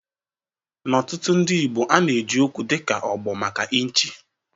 Na ọtụ̀tụ̀ ndị Igbo ana-eji okwu dịka "Ụ̀gbọ̀" maka ịnchị.